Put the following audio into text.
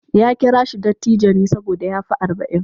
Ya kira shi dattijo ne saboda ya fi arba'in.